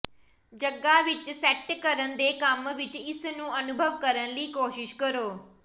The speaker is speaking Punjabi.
ਜਗ੍ਹਾ ਵਿੱਚ ਸੈੱਟ ਕਰਨ ਦੇ ਕੰਮ ਵਿੱਚ ਇਸ ਨੂੰ ਅਨੁਭਵ ਕਰਨ ਲਈ ਕੋਸ਼ਿਸ਼ ਕਰੋ